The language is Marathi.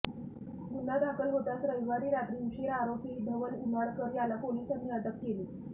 गुन्हा दाखल होताच रविवारी रात्री उशीरा आरोपी धवल उनाडकर याला पोलिसांनी अटक केली